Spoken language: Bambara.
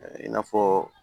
I n'a fɔ